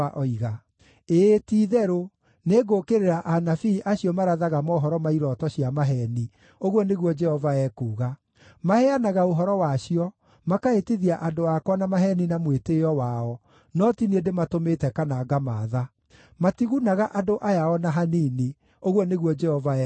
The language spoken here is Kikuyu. Ĩĩ ti-itherũ, nĩngũũkĩrĩra anabii acio marathaga mohoro ma irooto cia maheeni,” ũguo nĩguo Jehova ekuuga. “Maheanaga ũhoro wacio, makahĩtithia andũ akwa na maheeni na mwĩtĩĩo wao, no ti niĩ ndĩmatũmĩte kana ngamaatha. Matigunaga andũ aya o na hanini,” ũguo nĩguo Jehova ekuuga.